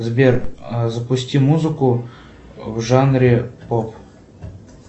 сбер запусти музыку в жанре поп